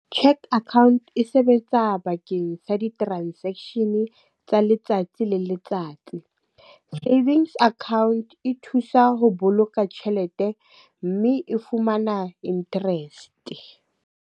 Cheque account e sebetsa bakeng sa di-transaction tsa letsatsi le letsatsi. Savings account e thusa ho boloka tjhelete mme e fumana interest.